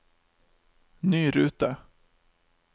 ny rute